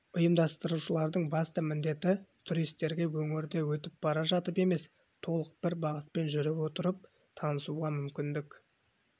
ұйымдастырушылардың басты міндеті туристерге өңірді өтіп бара жатып емес толық бір бағытпен жүре отырып танысуға мүмкіндік